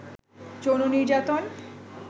যৌন নির্যাতন